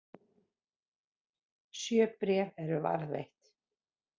Sjö bréf eru varðveitt.